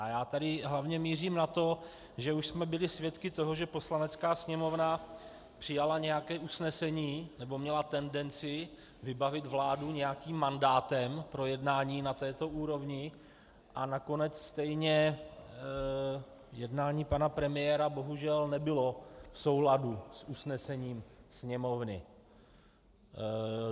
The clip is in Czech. A já tady hlavně mířím na to, že už jsme byli svědky toho, že Poslanecká sněmovna přijala nějaké usnesení nebo měla tendenci vybavit vládu nějakým mandátem pro jednání na této úrovni, a nakonec stejně jednání pana premiéra bohužel nebylo v souladu s usnesením Sněmovny.